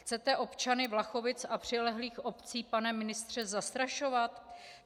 Chcete občany Vlachovic a přilehlých obcí, pane ministře, zastrašovat?